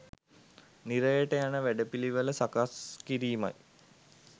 නිරයට යන වැඩපිළිවෙළ සකස් කිරීමයි.